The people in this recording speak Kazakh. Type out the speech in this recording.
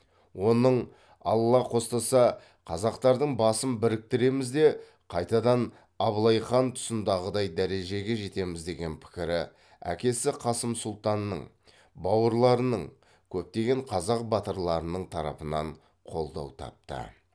оның алла қостаса қазақтардың басын біріктіреміз де қайтадан абылай хан тұсындағыдай дәрежеге жетеміз деген пікірі әкесі қасым сұлтанның бауырларының көптеген қазақ батырларының тарапынан қолдау тапты